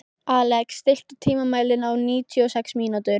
Alex, stilltu tímamælinn á níutíu og sex mínútur.